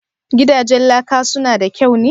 Gidajen laka su na da kyau ne?"